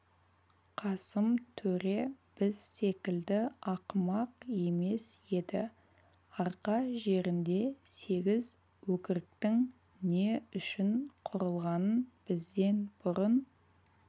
қасым төре біз секілді ақымақ емес еді арқа жерінде сегіз өкірігтің не үшін құрылғанын бізден бұрын